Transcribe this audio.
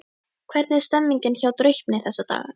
Hvernig er stemningin hjá Draupni þessa dagana?